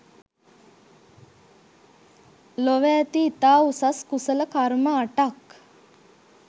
ලොව ඇති ඉතා උසස් කුසල කර්ම අටක්